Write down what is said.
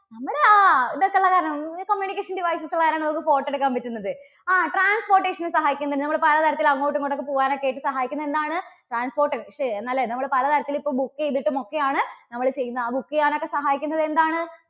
നമ്മുടെ ആ ഇതൊക്കെ ഉള്ളത് കാരണം, communication devices ഉള്ളത് കാരണമാണ് നമുക്ക് photo എടുക്കാൻ പറ്റുന്നത്. ആ transportation നു സഹായിക്കുന്നു. നമ്മള് പലതരത്തിൽ അങ്ങോട്ടും ഇങ്ങോട്ടും ഒക്കെ പോകാൻ ഒക്കെ ആയിട്ട് സഹായിക്കുന്നത് എന്താണ്? transport അല്ലേ? നമ്മള് പലതരത്തിൽ ഇപ്പോ book ചെയ്തിട്ടും ഒക്കെയാണ് നമ്മള് ചെയ്യുന്നത് ആ book ചെയ്യാൻ ഒക്കെ സഹായിക്കുന്നത് എന്താണ്?